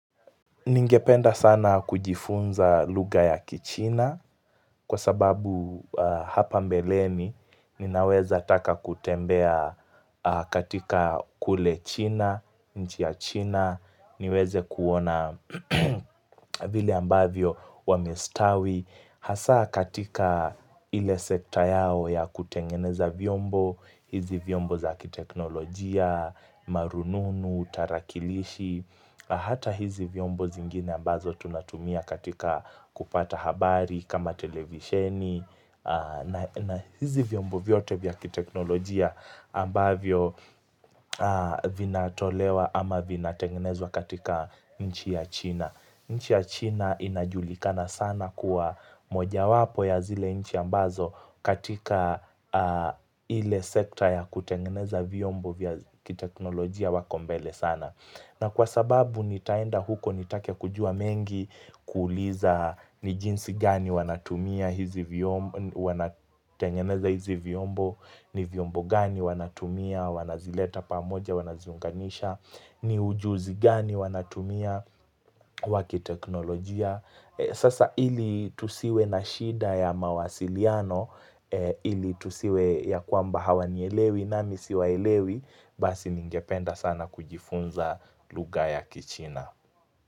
Ningependa sana kujifunza lugha ya kichina kwa sababu hapa mbeleni ninaweza taka kutembea katika kule china, nchi ya china, niweze kuona vile ambavyo wamestawi. Hasa katika ile sekta yao ya kutengeneza vyombo, hizi vyombo za kiteknolojia, marununu, tarakilishi Hata hizi vyombo zingine ambazo tunatumia katika kupata habari kama televisheni na hizi vyombo vyote vya kiteknolojia ambavyo vinatolewa ama vinatengenezwa katika nchi ya china nchi ya China inajulikana sana kuwa mojawapo ya zile nchi ambazo katika ile sekta ya kutengeneza vyombo vya kiteknolojia wako mbele sana. Na kwa sababu nitaenda huko nitake kujua mengi kuuliza ni jinsi gani wanatengeza hizi vyombo, ni vyombo gani wanatumia, wanazileta pamoja, wanaziunganisha, ni ujuzi gani wanatumia, wa kiteknolojia. Sasa ili tusiwe na shida ya mawasiliano ili tusiwe ya kwamba hawanielewi nami siwaelewi basi ningependa sana kujifunza lugha ya kichina.